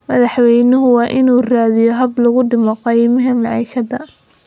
Madaxwaynuhu waa in uu raadiyaa hab lagu dhimo qiimaha maciishada